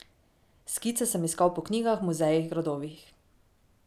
Skice sem iskal po knjigah, muzejih, gradovih.